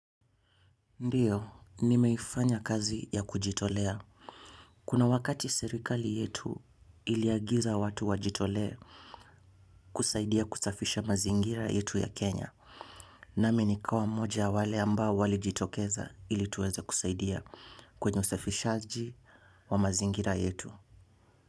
Ndiyo, nimeifanya kazi ya kujitolea. Kuna wakati serikali yetu iliagiza watu wajitole kusaidia kusafisha mazingira yetu ya Kenya. Nami nikawa moja ya wale ambao walijitokeza ili tuweze kusaidia kwenye usafishaji wa mazingira yetu.